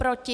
Proti?